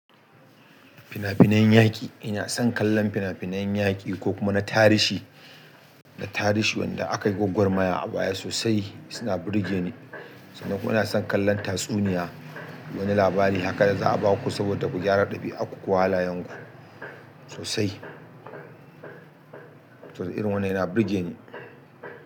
Fina-finan yaƙi, ina son kallon fina-finan yaƙi ko kuma na tarihi, na tarihi wanda akai gwagwar maya a baya sosai suna burge ni. Sannan kuma ina son kallon tatsuniya, wani labari haka za'a baku saboda ku gyara ɗabi'arku ko halayen ku sosai. Irin wannan yana burge ni.